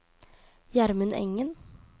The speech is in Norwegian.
Gjermund Engen